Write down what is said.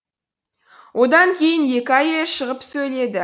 одан кейін екі әйел шығып сөйледі